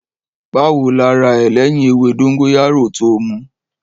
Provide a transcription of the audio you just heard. Bàwó làrà ẹ lẹ̀yín èwé dongoyaro tò mù?